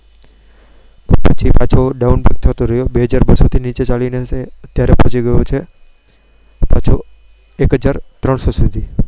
પછી પાછો. ડાઉન થતો રહ્યો થી નીચે ચાલીને પહોંચી અત્યારે પહોંચી ગયો છે. પાછો